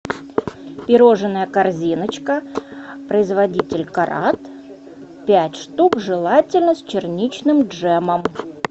пирожное корзиночка производитель карат пять штук желательно с черничным джемом